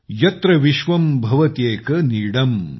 यत्र विश्वं भवत्येक नीदम्